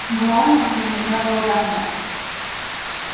глорию уже нельзя было догнать